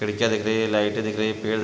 खिड़कियां दिख रही है लाइटे दिख रही हैं पेड़--